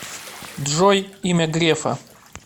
джой имя грефа